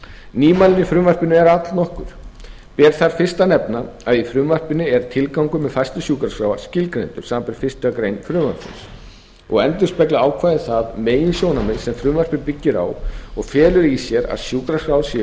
nýmæli í frumvarpinu eru allnokkur ber þar fyrst að nefna að í frumvarpinu er tilgangur með færslu sjúkraskráa skilgreindur samanber fyrstu grein frumvarpsins og endurspeglar ákvæðið það meginsjónarmið og felur í sér að sjúkraskrár séu